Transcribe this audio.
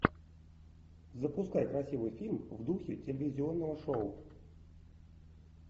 запускай красивый фильм в духе телевизионного шоу